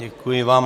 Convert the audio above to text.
Děkuji vám.